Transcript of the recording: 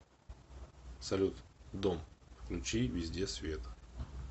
салют дом включи везде свет